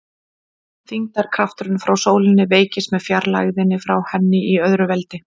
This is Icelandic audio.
Þyngdarkrafturinn frá sólinni veikist með fjarlægðinni frá henni í öðru veldi.